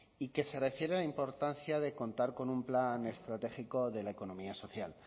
y que se refiere importancia de contar con un plan estratégicode la economía social